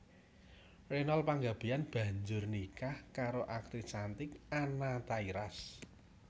Reynold Panggabean banjur nikah karo aktris cantik Anna Tairas